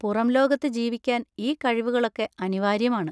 പുറംലോകത്ത് ജീവിക്കാൻ ഈ കഴിവുകളൊക്കെ അനിവാര്യമാണ്.